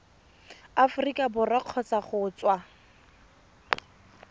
aforika borwa kgotsa go tswa